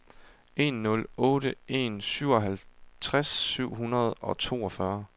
en nul otte en syvoghalvtreds syv hundrede og toogfyrre